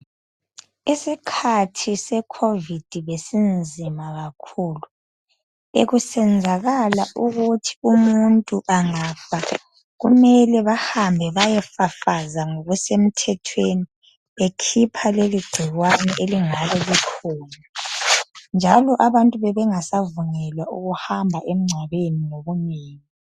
Isikhathi se covid besinzima kakhulu bekusenzala ukuthi umuntu angafa kumele bahambe bayefafaza ngokusemthethweni bekhipha leli gcikwane elingabe likhona njalo abantu bebengasavunyelwa ukuhamba emngcwabeni ngobunengi.